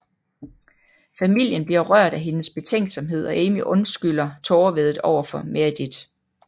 Familien bliver rørt af hendes betænksomhed og Amy undskylder tårevæddet overfor Meredith